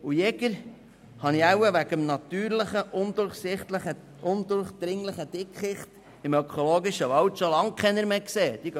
Und Jäger habe ich vermutlich wegen des natürlichen und undurchdringlichen Dickichts im ökologischen Wald schon lange keine mehr gesehen.